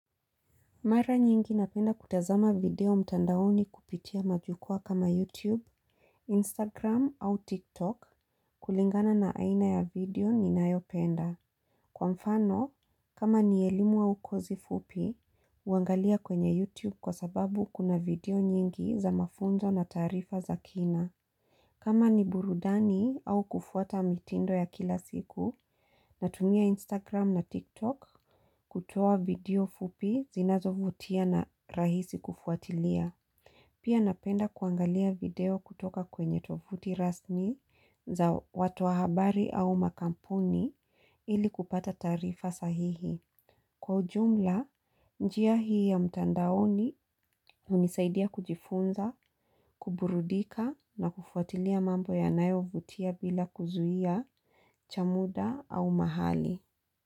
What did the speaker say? Mara nyingi napenda kutazama video mtandaoni kupitia majukua kama YouTube, Instagram au TikTok kulingana na aina ya video ni nayopenda. Kwa mfano, kama ni elimu wa ukozi fupi, uangalia kwenye YouTube kwa sababu kuna video nyingi za mafunzo na tarifa za kina. Kama ni burudani au kufuata mitindo ya kila siku, natumia Instagram na TikTok kutoa video fupi zinazo vutia na rahisi kufuatilia. Pia napenda kuangalia video kutoka kwenye tovuti rasni za watu wahabari au makampuni ili kupata tarifa sahihi. Kwa ujumla, njia hii ya mtandaoni unisaidia kujifunza, kuburudika na kufuatilia mambo ya nayo vutia bila kuzuia, cha muda au mahali.